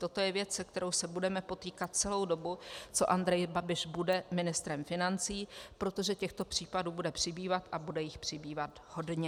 Toto je věc, s kterou se budeme potýkat celou dobu, co Andrej Babiš bude ministrem financí, protože těchto případů bude přibývat a bude jich přibývat hodně.